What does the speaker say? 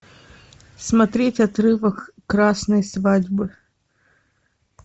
смотреть отрывок красной свадьбы